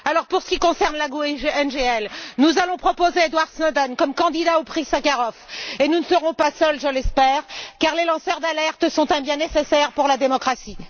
Pour ce qui concerne le groupe GUE NGL, nous allons proposer Edward Snowden comme candidat au prix Sakharov et nous ne serons pas seuls, je l'espère, car les lanceurs d'alerte sont un bien nécessaire pour la démocratie.